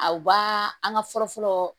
Aw ba an ka fɔlɔ fɔlɔ